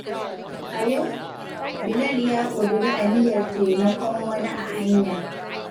A yau, Bilal ya ƙudiri aniyar taimakon wani a hanya.